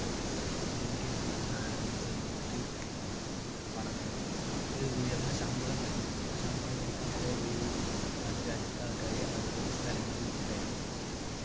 അങ്ങനെയൊക്കെയായിരുന്നു ന ഏർ സൈനികർക്ക് പണം നൽകിയിരുന്നത് അവർക്ക് ഉയർന്ന ശമ്പളം ഉണ്ടായിരുന്നു ആ ശമ്പളം കൊടുക്കാൻ വരെ ഈ നാട്ടുരാജ്യക്കാർക്കായി അവരുടെ സ്ഥലങ്ങൾ വിറ്റിട്ടായിരുന്നു